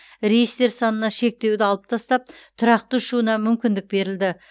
рейстер санына шектеуді алып тастап тұрақты ұшуына мүмкіндік берілді